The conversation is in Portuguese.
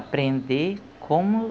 Aprender como